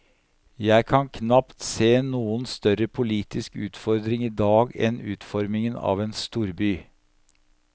Jeg kan knapt se noen større politisk utfordring i dag enn utformingen av en storby.